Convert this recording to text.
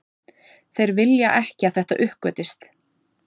Þeir vilja ekki að þetta uppgötvist